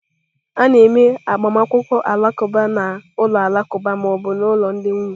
A na-eme agbamakwụkwọ Alakuba na ụlọ alakụba ma ọ bụ ụlọ ndị nwunye.